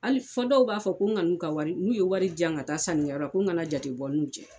Hali fo dɔw b'a ko n kan'u ka wari n'u ye wari di yan ka taa sannikɛyɔrɔ la ko nkana jate bɔ n n'u cɛ